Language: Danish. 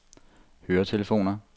høretelefoner